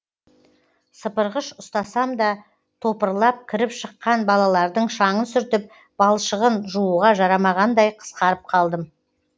сыпырғыш ұстасам да топырлап кіріп шыққан балалардың шаңын сүртіп балшығын жууға жарамағандай қысқарып қалдым